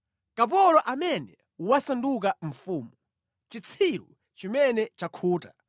Kapolo amene wasanduka mfumu, chitsiru chimene chakhuta,